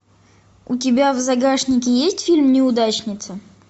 у тебя в загашнике есть фильм неудачница